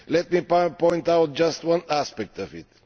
Let me point out just one aspect of it.